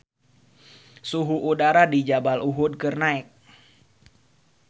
Suhu udara di Jabal Uhud keur naek